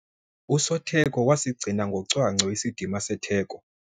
Usotheko wasigcina ngocwangco isidima setheko.